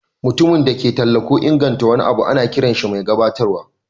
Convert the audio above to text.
Mutumin da ke talla ko inganta wani abu ana kiran shi mai gabatarwa.